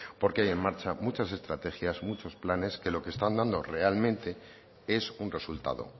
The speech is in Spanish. porque hay en marcha muchas estrategias muchos planes que lo que están dando realmente es un resultado